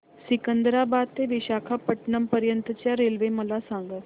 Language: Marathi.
सिकंदराबाद ते विशाखापट्टणम पर्यंत च्या रेल्वे मला सांगा